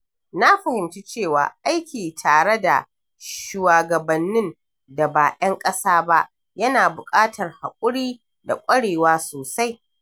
Na fahimci cewa aiki tare da shuwagabannin da ba 'yan ƙasa ba yana buƙatar haƙuri da ƙwarewa sosai.